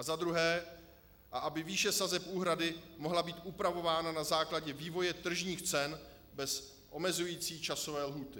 A za druhé - aby výše sazeb úhrady mohla být upravována na základě vývoje tržních cen bez omezující časové lhůty.